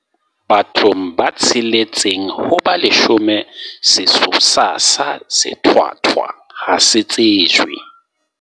Bathong ba tsheletseng ho ba leshome sesosa sa sethwathwa ha se tsejwe.